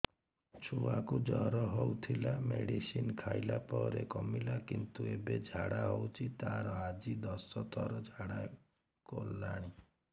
ଛୁଆ କୁ ଜର ହଉଥିଲା ମେଡିସିନ ଖାଇଲା ପରେ କମିଲା କିନ୍ତୁ ଏବେ ଝାଡା ହଉଚି ତାର ଆଜି ଦଶ ଥର ଝାଡା କଲାଣି